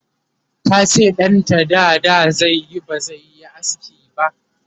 tace ɗanta dada zaiyi bazaiyi aski ba